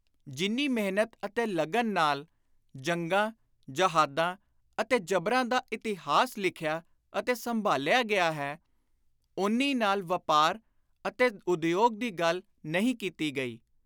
ਜਿੰਨੀ ਮਿਹਨਤ ਅਤੇ ਲਗਨ ਨਾਲ ਜੰਗਾਂ, ਜੇਹਾਦਾ ਅਤੇ ਜਬਰਾਂ ਦਾ ਇਤਿਹਾਸ ਲਿਖਿਆ ਅਤੇ ਸੰਭਾਲਿਆ ਗਿਆ ਹੈ, ਓਨੀ ਨਾਲ ਵਾਪਾਰ ਅਤੇ ਉਦਯੋਗ ਦੀ ਗੱਲ ਨਹੀਂ ਕੀਤੀ ਗਈ।